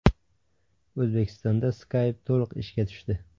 O‘zbekistonda Skype to‘liq ishga tushdi.